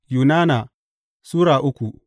Yunana Sura uku